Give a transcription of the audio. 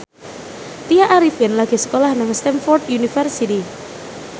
Tya Arifin lagi sekolah nang Stamford University